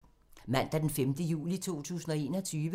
Mandag d. 5. juli 2021